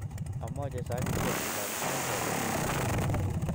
amoche sakitiek chechang che bo kelek.